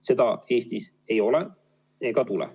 Seda Eestis ei ole ega tule.